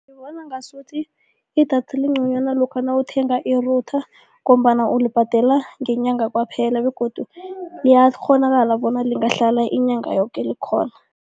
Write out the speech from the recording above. Ngibona ngasuthi idatha lingconywana lokha nawuthenga i-router ngombana ulibhadela ngenyanga kwaphela begodu liyakghonakala bona lingahlala inyanga yoke likhona.